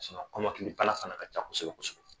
Kɔmakili bana fana ka ca kosɛbɛ kosɛbɛ.